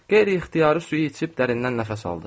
Qeyri-ixtiyari suyu içib dərindən nəfəs aldı.